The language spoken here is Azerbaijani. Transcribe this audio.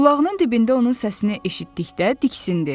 Qulağının dibində onun səsini eşitdikdə diksindi.